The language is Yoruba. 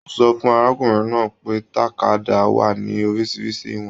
O sọ̀ fun arákùnrin náà pé tàkádá wà ní oríṣiríṣi ìwọ̀n.